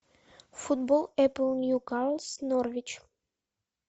футбол апл ньюкасл норвич